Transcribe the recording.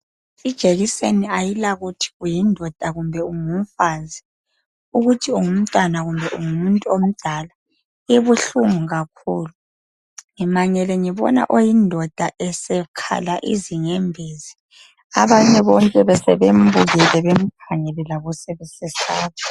Ijekiseni ayila kuthi uyindoda kumbe ungumfazi ungumntwana kumbe ungumuntu omdala ibuhlungu kakhulu ngimangele sengibona oyindoda esekhala izinyembezi abanye bonke besebemkhangele bembukele labo sebesesaba